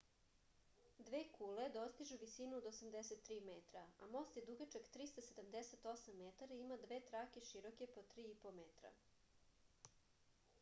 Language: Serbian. dve kule dostižu visinu od 83 metra a most je dugačak 378 metara i ima dve trake široke po 3,50 m